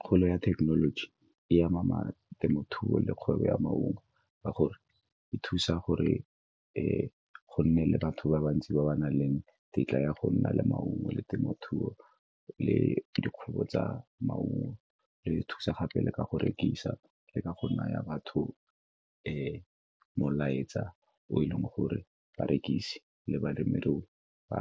Kgolo ya thekenoloji, e ama temothuo le kgwebo ya maungo ka gore e thusa gore go nne le batho ba bantsi ba ba nang le tetla ya go nna le maungo le temothuo le dikgwebo tsa maungo. E re thusa gape le ka go rekisi le ka go naya batho molaetsa o e leng gore ba rekise le balemirui ba